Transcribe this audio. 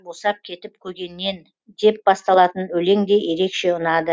босап кетіп көгеннен деп басталатын өлең де ерекше ұнады